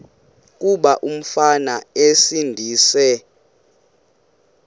kuba umfana esindise